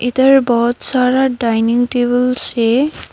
इधर बहोत सारा डाइनिंग टेबल्स है।